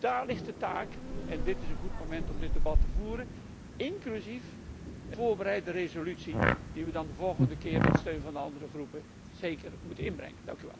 Daar ligt de taak en dit is een goed moment om dit debat te voeren, inclusief de voorbereide resolutie die wij dan de volgende keer met steun van de andere fracties zeker moeten inbrengen.